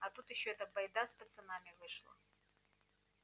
а тут ещё эта байда с пацанами вышла